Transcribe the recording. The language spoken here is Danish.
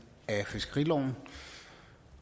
af fiskeriloven